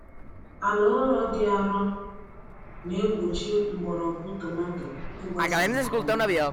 Ala ụrọ dị arọ na-egbochi mgbọrọgwụ tomato ịgbasa nke ọma.